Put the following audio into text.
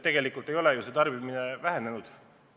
Tegelikult ei ole tarbimine aktsiisitõusude tõttu vähenenud.